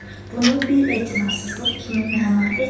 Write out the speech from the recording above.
Bunu bir etinasızlıq kimi məna etməyin.